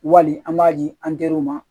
Wali an b'a di an teriw ma